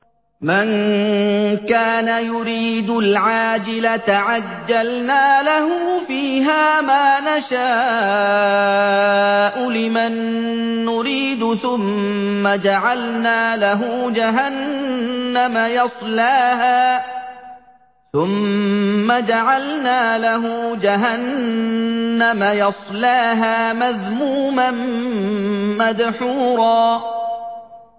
مَّن كَانَ يُرِيدُ الْعَاجِلَةَ عَجَّلْنَا لَهُ فِيهَا مَا نَشَاءُ لِمَن نُّرِيدُ ثُمَّ جَعَلْنَا لَهُ جَهَنَّمَ يَصْلَاهَا مَذْمُومًا مَّدْحُورًا